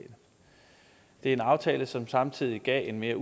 en aftale som samtidig giver en mere